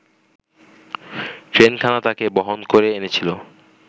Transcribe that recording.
ট্রেনখানা তাকে বহন করে এনেছিল